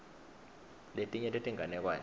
letinye tetinganekwane